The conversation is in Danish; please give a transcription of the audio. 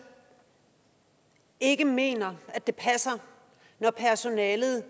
ikke mener at det passer når personalet